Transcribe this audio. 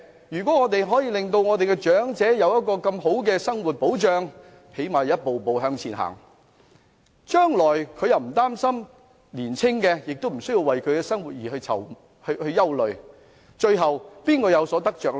如果我們可以令長者有更佳的生活保障，最低限度一步步向前走，將來他們不用擔心，青年人亦無須憂慮他們日後的生活，最後誰有得着呢？